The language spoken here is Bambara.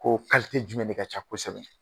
Ko'o kalitɛ jumɛn de ka ca kosɛbɛ.